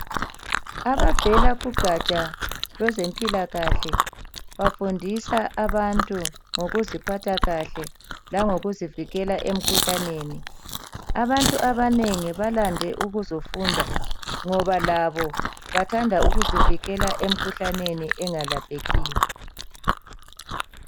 Abavela kugaja lwezempilakahle bafundisa abantu ngokuziphatha kahle langokuzivikela emkhuhlaneni. Abantu abanengi balande ukuzofunda ngoba labo bathanda ukuzivikela emkhuhlaneni engalaphekiyo.